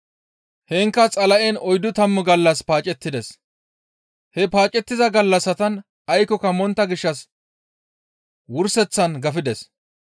Heenkka Xala7en oyddu tammu gallas paacettides. He paacettiza gallassatan aykkoka montta gishshas wurseththan gafides.